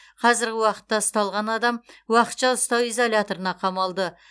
қазіргі уақытта ұсталған адам уақытша ұстау изоляторына қамалды